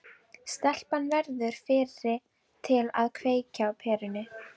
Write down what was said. Stelpan verður fyrri til að kveikja á perunni.